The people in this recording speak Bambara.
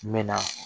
N mɛ na